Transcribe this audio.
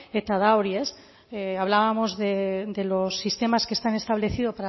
hablábamos de los sistemas que están establecidos